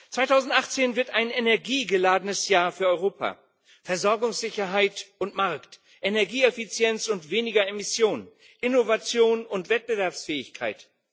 2018 wird ein energiegeladenes Jahr für Europa Versorgungssicherheit und Markt, Energieeffizienz und weniger Emissionen, Innovation und Wettbewerbsfähigkeit.